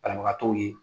Banabagatɔw ye